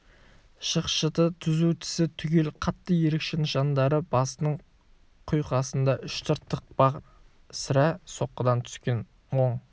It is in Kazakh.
шықшыты түзу тісі түгел қатты ерекше нышандары басының құйқасында үш тыртық бар сірә соққыдан түскен оң